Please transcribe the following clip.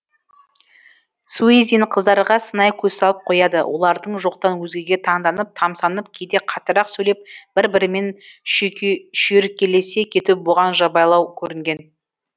суизин қыздарға сынай көз салып қояды олардың жоқтан өзгеге таңданып тамсанып кейде қаттырақ сөйлеп бір бірімен шүйіркелесе кетуі бұған жабайылау көрінген